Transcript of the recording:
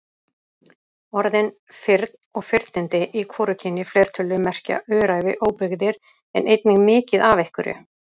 Orðin firn og firnindi í hvorugkyni fleirtölu merkja öræfi, óbyggðir en einnig mikið af einhverju.